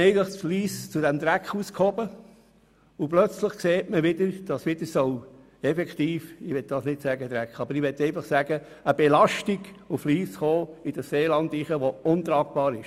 Man hat dann Lyss geholfen, aus dem Dreck rauszukommen und plötzlich sieht man, dass – ich möchte nicht von Dreck sprechen, aber dass wieder eine Belastung auf Lyss zukommt, die untragbar ist.